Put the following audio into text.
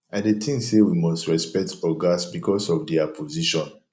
i dey think say we must respect ogas because of dia position